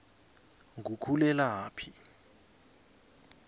ngukhulelaphi